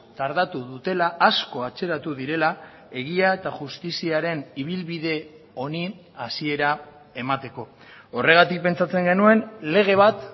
tardatu dutela asko atzeratu direla egia eta justiziaren ibilbide honi hasiera emateko horregatik pentsatzen genuen lege bat